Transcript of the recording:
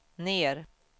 ner